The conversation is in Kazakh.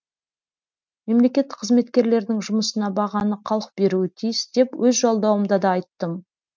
мемлекеттік қызметкерлердің жұмысына бағаны халық беруі тиіс деп өз жолдауымда да айттым